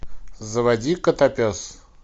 заводи котопес